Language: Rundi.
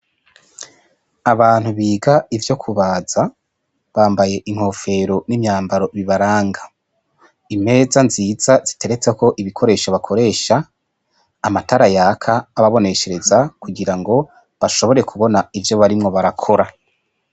Abantu biga ivyo kubaza bambaye inkofero n'imyambaro bibaranga impeza nziza ziteretse ko ibikoresho bakoresha amatara yaka ababoneshereza kugira ngo bashobore kubona ivyo barimwo barakora.